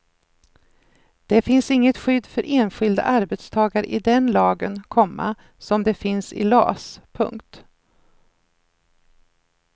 Det finns inget skydd för enskilda arbetstagare i den lagen, komma som det finns i las. punkt